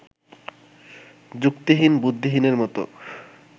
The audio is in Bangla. যুক্তিহীন-বুদ্ধিহীনের মতো